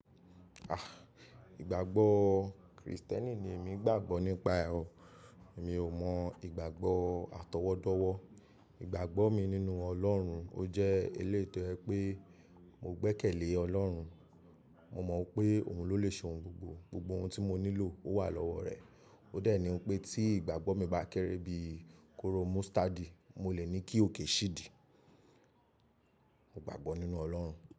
Ah, ìgbàgbọ́ Kristẹni ni èmi gbàgbọ́ nípa o. Mi ò mọ ìgbàgbọ́ atọwọ́dọ́wọ́. Ìgbàgbọ́ mi nínú Ọlọ́run, ó jẹ́ eléyìí to jẹ pé mo gbẹ́kẹ̀lé Ọlọ́run. Mo mọ̀ pé òun ló le ṣe ohun gbogbo. Gbogbo ohun tí mo nílò, ó wà lọ́wọ́ rẹ̀. Ó de ni pé tí ìgbàgbọ́ mi bá kéré bí kooro mustad, mo lè ní kí òkè ṣí di. Mo gbàgbọ́ nínú Ọlọ́run.